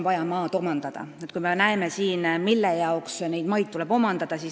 Vaatame, mille jaoks neid maid tuleb omandada.